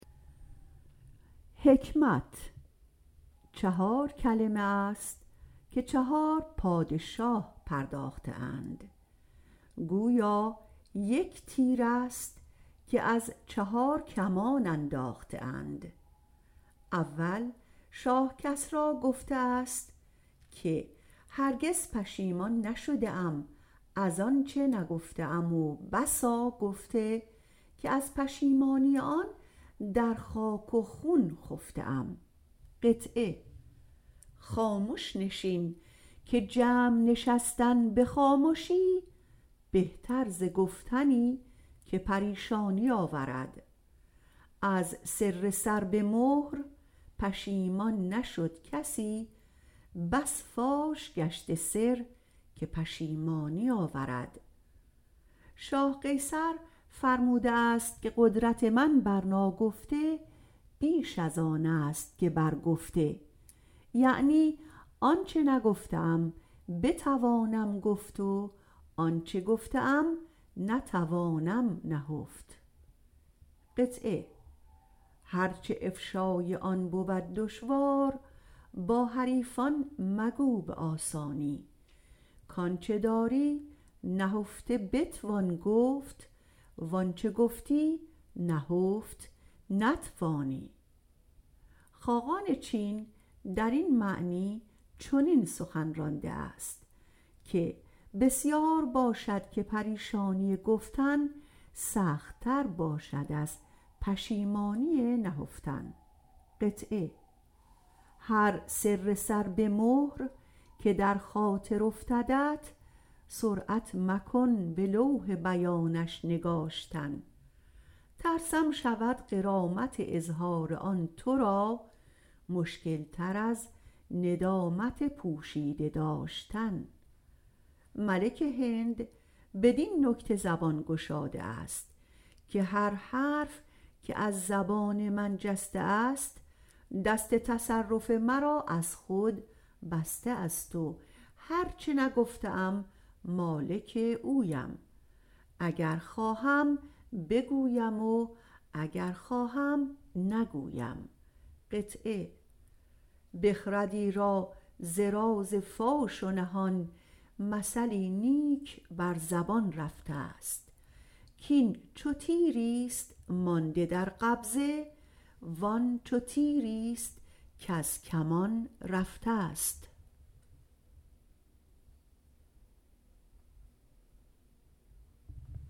چهار کلمه است که چهار پادشاه پرداخته اند که گویا یک تیر است که از چهار کمان انداخته اند کسری گفته است هرگز پشیمان نشدم از آنچه نگفته ام و بسا گفته که از پشیمانی ان در خاک و خون خفته ام خامش نشین که جمع نشستن به خامشی بهتر ز گفتنی که پریشانی آورد از سر سر به مهر پشیمان نشد کسی بس فاش گشته سر که پشیمانی آورد قیصر فرموده است که قدرت من بر ناگفته بیش از آن است که بر گفته یعنی آنچه نگفته ام بتوانم گفت و آنچه گفته ام نتوانم نهفت هر چه افشای آن بود دشوار با حریفان مگو به آسانی کانچه داری نهفته بتوان گفت وانچه گفتی نهفت نتوانی خاقان چین در این معنی سخن چنین رانده است که بسیار باشد که پریشانی گفتن سختر باشد از پشیمانی نهفتن هر سر سر به مهر که در خاطر افتدت سرعت مکن به لوح بیانش نگاشتن ترسم شود غرامت اظهار آن تو را مشکل تر از ندامت پوشیده داشتن ملک هند بدین نکته زبان گشاده است که هر حرف که از زبان جسته است دست تصرف مرا از خود بسته است و هر چه نگفته ام مالک اویم اگر خواهم بگویم و اگر خواهم نگویم بخردی را ز راز فاش و نهان مثلی نیک بر زبان رفته کین چو تیر است مانده در قبضه وان چو تیر است از کمان رفته